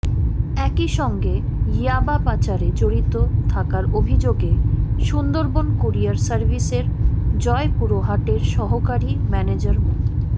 একই সঙ্গে ইয়াবা পাচারে জড়িত থাকার অভিযোগে সুন্দরবন কুরিয়ার সার্ভিসের জয়পুরহাটের সহকারী ম্যানেজার মো